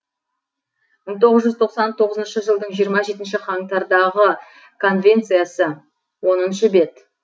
мың тоғыз жүз тоқсан тоғызыншы жылдың жиырма жетінші қаңтардағы конвенциясы оныншы бет